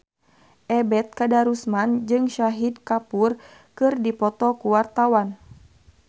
Ebet Kadarusman jeung Shahid Kapoor keur dipoto ku wartawan